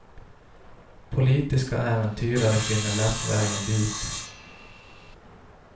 Politiska äventyrare finner lätt vägen dit.